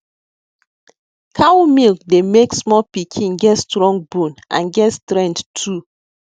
cow milk dey make small pikin get strong bone and get strenght too